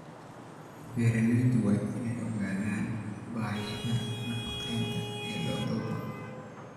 Beeraleydu waa inay ogaadaan baahida nafaqeynta ee lo'dooda.